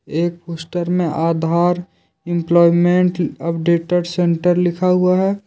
एक पोस्टर में आधार एम्प्लॉयमेंट अपडेटेड सेंटर लिखा हुआ है।